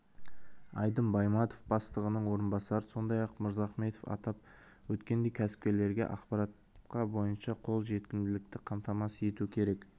айдын байматов бастығының орынбасары сондай-ақ мырзахметов атап өткендей кәсіпкерлерге ақпаратқа барынша қол жетімділікті қамтамасыз ету керек